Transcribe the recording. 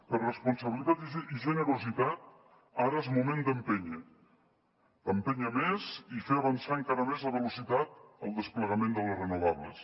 per responsabilitat i generositat ara és moment d’empènyer d’empènyer més i fer avançar encara més la velocitat en el desplegament de les renovables